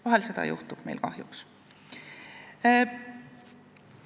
Vahel meil seda kahjuks juhtub.